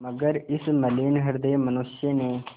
मगर इस मलिन हृदय मनुष्य ने